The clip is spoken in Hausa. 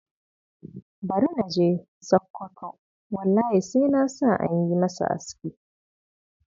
Bari na je Sakwato, wallahi sai na sa an yi masa aski.